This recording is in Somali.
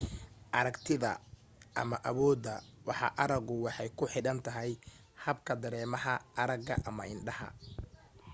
aragtida ama awoodda waxa aragu waxay ku xidhan tahay habka dareemaha arraga ama indhaha